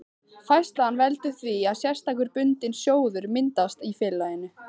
Færslan veldur því að sérstakur bundinn sjóður myndast í félaginu.